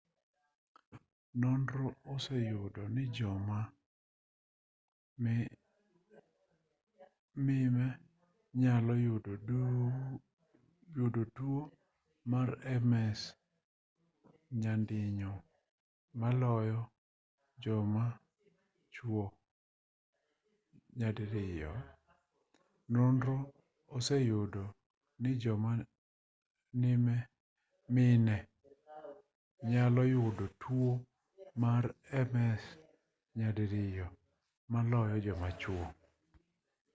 nonro oseyudo ni joma mime nyalo yudo tuo mar ms nyadiriyo maloyo joma chuo